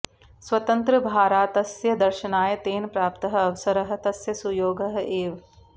स्वतन्त्रभारातस्य दर्शनाय तेन प्राप्तः अवसरः तस्य सुयोगः एव